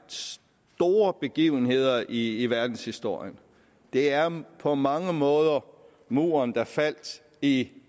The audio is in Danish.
store begivenheder i verdenshistorien det er på mange måder muren der faldt i